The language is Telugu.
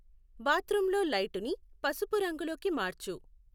బాత్రూంలో లైటుని పసుపు రంగులోకి మార్చు